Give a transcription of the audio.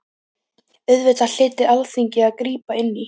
Auðvitað hlyti Alþingi að grípa inn í.